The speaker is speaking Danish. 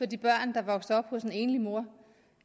de børn der vokser op hos en enlig mor